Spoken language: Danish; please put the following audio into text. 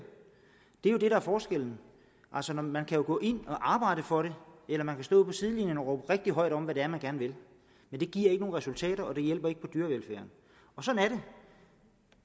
det er jo det der er forskellen altså man kan gå ind og arbejde for det eller man kan stå ude på sidelinjen og råbe rigtig højt om hvad det er man gerne vil men det giver ikke nogen resultater og det hjælper ikke på dyrevelfærd sådan